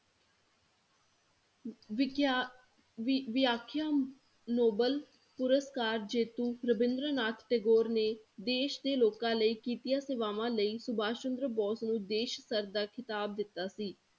ਵਿਖਿਆ ਵੀ~ ਵਿਆਖਿਆ ਨੋਬੇਲ ਪੁਰਸਕਾਰ ਜੇਤੁ ਰਬਿੰਦਰ ਨਾਥ ਟੈਗੋਰ ਨੇ ਦੇ ਦੇ ਲੋਕਾਂ ਲਈ ਕੀਤੀਆਂ ਸੇਵਾਵਾਂ ਲਈ ਸੁਭਾਸ਼ ਚੰਦਰ ਬੋਸ ਨੂੰ ਦੇ ਦਾ ਖ਼ਿਤਾਬ ਦਿਤਾ ਸੀ